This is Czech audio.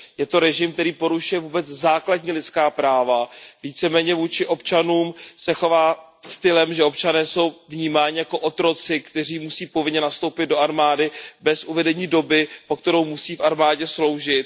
Je to režim, který porušuje vůbec základní lidská práva, víceméně vůči občanům se chová stylem, že občané jsou vnímáni jako otroci, kteří musí povinně nastoupit do armády bez uvedení doby, po kterou musí v armádě sloužit.